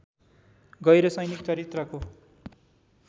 गैह्र सैनिक चरित्रको